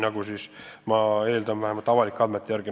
Ma vähemalt eeldan seda avaliku info põhjal.